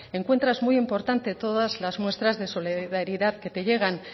encuentras muy importante todas las muestras de solidaridad que te llegan